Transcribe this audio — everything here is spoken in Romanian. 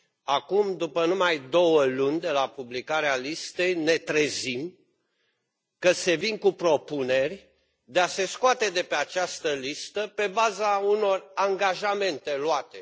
Acum, după numai două luni de la publicarea listei, ne trezim că se vine cu propuneri de a se scoate de pe această listă pe baza unor angajamente luate.